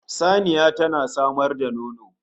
Saniya tana samar da nono